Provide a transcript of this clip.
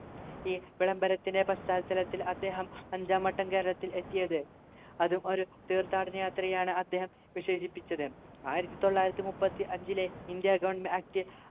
ഈ വിളംബരത്തിൻ്റെ പശ്ചാത്തലത്തിൽ അദ്ദേഹം അഞ്ചാം വട്ടം കേരളത്തിൽ എത്തിയത് അതും ഒരു തീർത്ഥാടന യാത്രയാണ് അദ്ദേഹം വിശേഷിപ്പിച്ചത് ആയിരത്തിതൊള്ളായിരത്തിമുപ്പത്തിഅഞ്ചിലെ ഇന്ത്യ goverment act